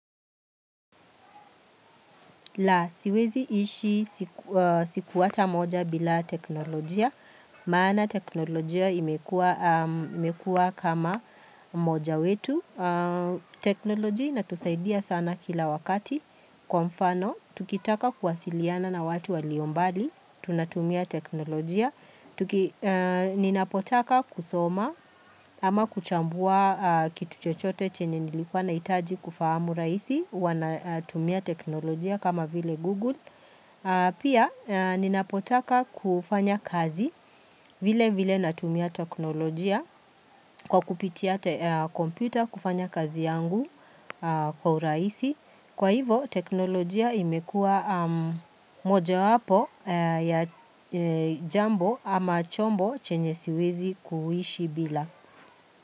La, siwezi ishi siku ata moja bila teknolojia, maana teknolojia imekuwa, imekuwa kama mmoja wetu teknolojia inatusaidia sana kila wakati. Kwa mfano, tukitaka kuwasiliana na watu waliombali, tunatumia teknolojia Ninapotaka kusoma ama kuchambua kitu chochote chenye nilikuwa nahitaji kufahamu raisi huwa natumia teknolojia kama vile Google Pia ninapotaka kufanya kazi vile vile natumia teknolojia Kwa kupitia kompyuta kufanya kazi yangu kwa urahisi Kwa hivo, teknolojia imekua moja wapo ya jambo ama chombo chenye siwezi kuishi bila.